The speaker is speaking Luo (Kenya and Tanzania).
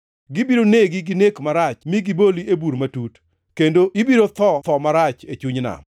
Gibiro negi gi nek marach mi giboli e bur matut, kendo ibiro tho tho marach, e chuny nam.